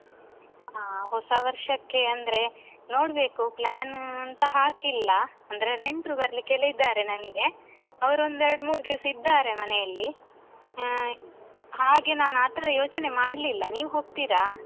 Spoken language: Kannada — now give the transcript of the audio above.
ಹಾ ಹೊಸ ವರ್ಷಕ್ಕೆ ಅಂದ್ರೆ ನೋಡ್ಬೇಕು plan ಅಂತ ಹಾಕಿಲ್ಲ. ಅಂದ್ರೆ ನೆಂಟ್ರು ಬರ್ಲಿಕ್ಕೆಲ್ಲ ಇದ್ದಾರೆ ನನ್ಗೆ ಅವರೊಂದು ಎರಡ್ ಮೂರ್ ದಿವ್ಸ ಇದ್ದಾರೆ ಮನೆಯಲ್ಲಿ. ಹಾ ಹಾಗೆ ನಾನು ಆತರ ಯೋಚನೆ ಮಾಡ್ಲಿಲ್ಲ ನೀವು ಹೋಗ್ತೀರಾ?